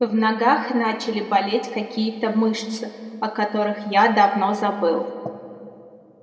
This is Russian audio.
в ногах начали болеть какие-то мышцы о которых я давно забыл